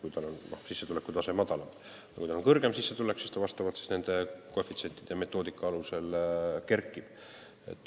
Kui inimesel on kõrgem sissetulek, siis see määr nende koefitsientide ja metoodika alusel kerkib.